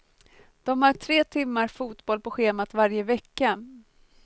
De har tre timmar fotboll på schemat varje vecka.